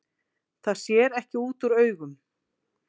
Það sér ekki út úr augum